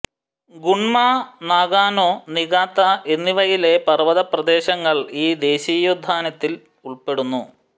Gunma Nagano Niigata എന്നിവയിലെ പർവ്വതപ്രദേശങ്ങൾ ഈ ദേശീയോദ്യാനത്തിൽ ഉൾപ്പെടുന്നു